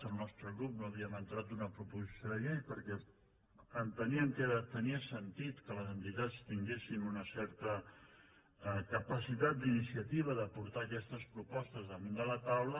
el nostre grup no havíem entrat una proposició de llei perquè enteníem que tenia sentit que les entitats tinguessin una certa capacitat d’iniciativa de portar aquestes propostes damunt la taula